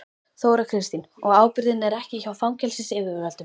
Þóra Kristín: Og ábyrgðin er ekki hjá fangelsisyfirvöldum?